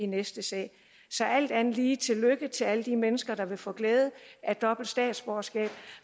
næste sag så alt andet sige tillykke til alle de mennesker der vil få glæde af dobbelt statsborgerskab